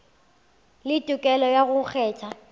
le tokelo ya go kgetha